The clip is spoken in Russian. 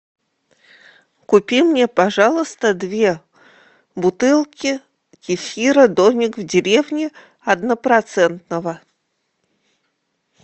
купи мне пожалуйста две бутылки кефира домик в деревне однопроцентного